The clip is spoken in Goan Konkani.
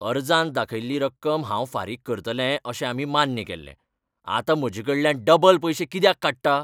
अर्जांत दाखयिल्ली रक्कम हांव फारीक करतलें अशें आमी मान्य केल्ले. आतां म्हजेकडल्यान डबल पयशें कित्याक काडटा?